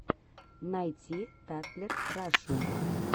найти татлер рашу